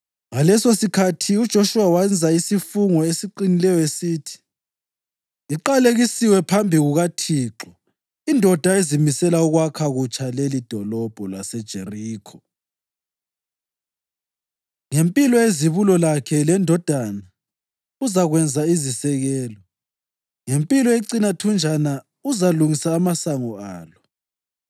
Ngalesosikhathi uJoshuwa wenza isifungo esiqinileyo esithi, “Iqalekisiwe phambi kukaThixo indoda ezimisela ukwakha kutsha lelidolobho laseJerikho: Ngempilo yezibulo lakhe lendodana uzakwenza izisekelo; ngempilo yecinathunjana uzalungisa amasango alo.”